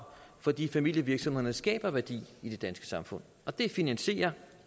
fordi familievirksomhederne skaber værdi i det danske samfund og det finansierer